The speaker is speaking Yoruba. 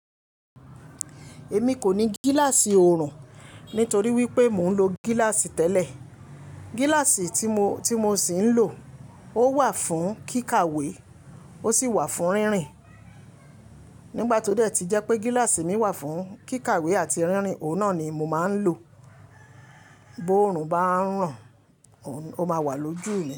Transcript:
Èmi kò ní gíláàsì ọrùn nítorí wípé mò ń lo gíláàsì tẹ́lẹ̀. Gíláàsì tí mo, tí mo sì ń lò ó wà fún kíkàwé, ó sì wà fún rínrin. Nígbà tó dẹ́ ti jẹ́ pé gíláàsì mi wà fún kíkàwé àti rínrin, òun náà ni mo máa ń lò. Bó ọrùn bá ń ràn, ó ma wà lójú mi.